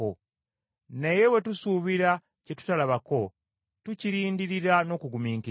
Naye bwe tusuubira kye tutalabako, tukirindirira n’okugumiikiriza.